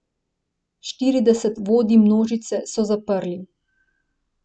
Štirideset vodij množice so zaprli.